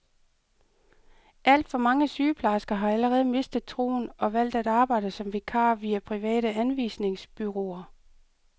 Alt for mange sygeplejersker har allerede mistet troen og valgt at arbejde som vikarer via private anvisningsbureauer.